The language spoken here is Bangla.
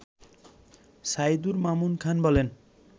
সাইদুর মামুন খান বলেন